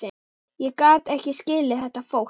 Ég gat ekki skilið þetta fólk.